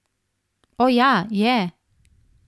O, ja, je!